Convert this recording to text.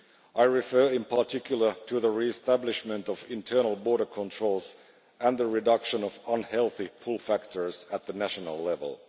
I refer in particular to the re establishment of internal border controls and the reduction of unhealthy pull factors at national level.